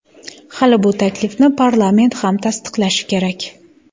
Hali bu taklifni parlament ham tasdiqlashi kerak.